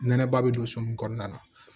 Nɛnɛba bɛ don so min kɔnɔna na